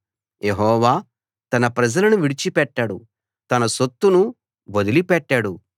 యెహోవా తన ప్రజలను విడిచిపెట్టడు తన సొత్తును వదిలి పెట్టడు